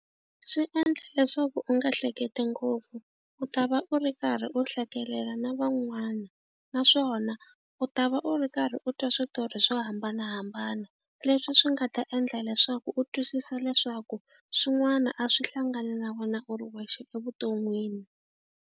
Swi endla leswaku u nga hleketi ngopfu u ta va u ri karhi u hlekelela na van'wana naswona u ta va u ri karhi u twa switori swo hambanahambana leswi swi nga ta endla leswaku u twisisa leswaku swin'wana a swi hlangani na vona u ri wexe evuton'wini.